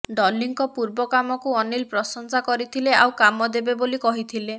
ଡଲିଙ୍କ ପୂର୍ବ କାମକୁ ଅନିଲ ପ୍ରଶଂସା କରିଥିଲେ ଆଉ କାମ ଦେବେ ବୋଲି କହିଥିଲେ